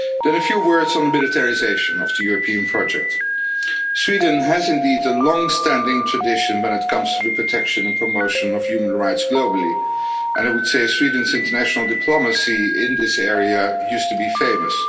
A few words on the militarisation of the European project. Sweden has indeed a longstanding tradition when it comes to the protection and promotion of human rights globally, and I would say Sweden's international diplomacy in this area used to be famous.